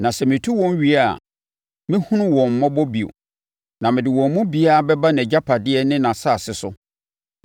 Na sɛ metu wɔn wie a, mɛhunu wɔn mmɔbɔ bio, na mede wɔn mu biara bɛba nʼagyapadeɛ ne nʼasase so.